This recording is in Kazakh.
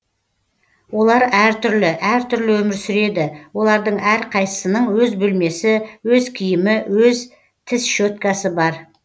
олар әр түрлі әр түрлі өмір сүреді олардың әрқайсысының өз бөлмесі өз киімі өз тіс щеткасы бар